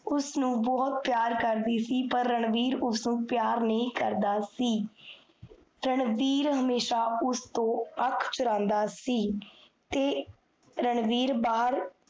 ਉਸਨੁ ਬੋਹੋਤ ਪਿਆਰ ਕਰਦੀ ਸੀ ਪਰ ਰਣਵੀਰ ਉਸਨੁ ਪਿਆਰ ਨਹੀ ਕਰਦਾ ਸੀ l ਰਣਵੀਰ ਹਮੇਸ਼ਾ ਉਸਤੋਂ ਅਖ ਚੁਰਾਂਦਾ ਸੀ ਤੇ ਰਣਵੀਰ ਬਾਹਰ